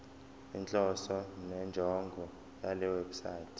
inhloso nenjongo yalewebsite